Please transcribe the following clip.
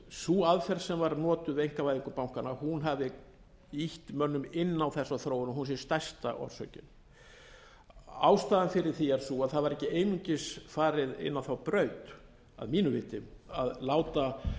sú aðferð sem var notuð við einkavæðingu bankanna hafi ýtt mönnum inn á þessa þróun og hún sé stærsta orsökin ástæðan fyrir því er sú að það var ekki einungis farið inn á þá braut að mínu viti að láta